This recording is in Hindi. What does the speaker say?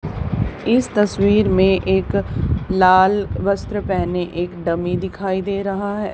इस तस्वीर में एक लाल वस्त्र पहने एक डमी दिखाई दे रहा है।